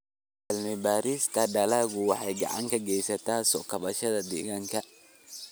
Cilmi-baarista dalaggu waxay gacan ka geysataa soo kabashada deegaanka.